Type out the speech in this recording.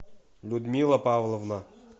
людмила павловна